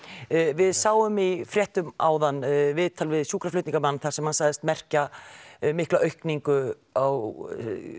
við sáum í fréttum áðan viðtal við sjúkraflutningamenn þar sem hann sagðist merkja mikla aukningu á